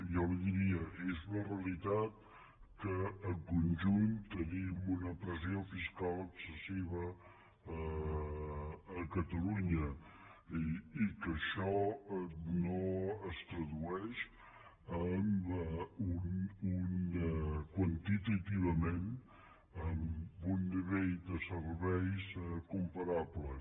jo li diria és una realitat que en conjunt tenim una pressió fiscal excessiva a catalunya i que això no es tradueix quantitativament en un nivell de serveis comparables